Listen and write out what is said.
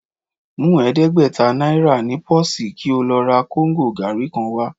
Mú ẹ̀ẹ́dẹ́gbẹ̀ta náírà ní pọ́ọ̀sì kí ó lọ ra kóńgò gàárì kan wá